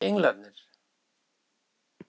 Eru þetta ekki englarnir!